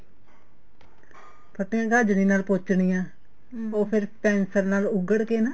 ਫੱਟੀਆਂ ਗਾਜਣੀ ਨਾਲ ਪੋਚ੍ਨੀਆ ਉਹ ਫ਼ੇਰ pencil ਨਾਲ ਉਗੜ ਕੇ ਨਾ